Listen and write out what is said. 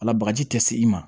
Ala bagaji tɛ se i ma